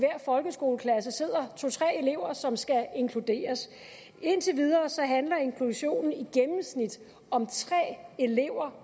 folkeskoleklasse sidder to tre elever som skal inkluderes indtil videre handler inklusionen om tre elever